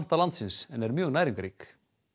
landsins en er mjög næringarrík